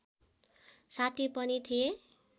साथी पनि थिए